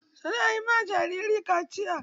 Su na yi ma jariri kaciya.